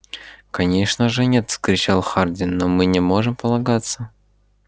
конечно же нет вскричал хардин но мы не можем полагаться